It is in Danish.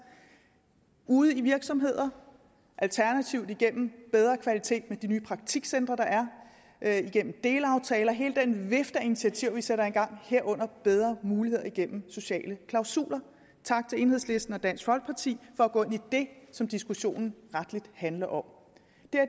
ude i virksomheder alternativt igennem bedre kvalitet med de nye praktikcentre der er igennem delaftaler hele den vifte af initiativer vi sætter i gang herunder bedre muligheder igennem sociale klausuler tak til enhedslisten og dansk folkeparti for at gå ind i det som diskussionen rettelig handler om